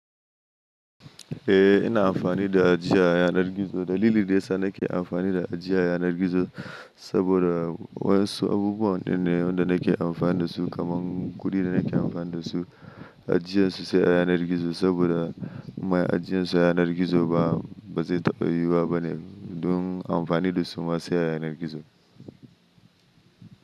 Eh ina amfani da ajiyar yanar gizo. Dalilin da yasa nake amfani da ajiyar yanar gizo saboda wasu abubuwan na da nake amfani dasu kaman kudi da nake amfani dasu ajiyarsu sai a yanar gizo, saboda ajiyarsu ba a yanar gizo ba, bazai taɓa yiwuwa bane. Don amfani da su ma sai a yanar gizo.